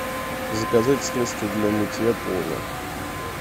заказать средство для мытья пола